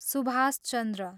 Subhash Chandra